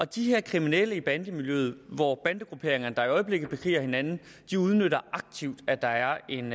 de her kriminelle i bandemiljøet hvor bandegrupperinger i øjeblikket bekriger hinanden udnytter aktivt at der er en